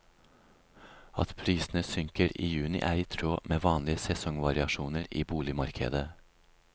At prisene synker i juni er i tråd med vanlige sesongvariasjoner i boligmarkedet.